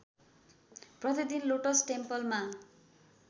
प्रतिदिन लोटस टेम्पलमा